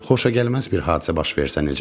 Xoşagəlməz bir hadisə baş versə necə?